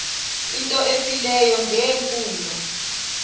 into efileyo ngeempumlo